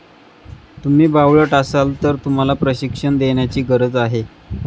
तुम्ही बावळट असाल तर तुम्हाला प्रशिक्षण देण्याची गरज आहे.